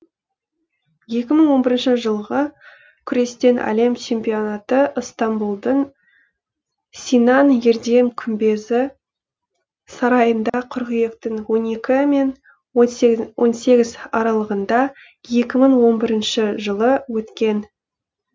екі мың он бірінші жылғы күрестен әлем чемпионаты ыстамбұлдың синан ердем күмбезі сарайында қыркүйектің он екі мен он сегізі аралығында екі мың он бірінші жылы өткен